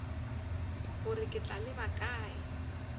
gore ke tla leba kae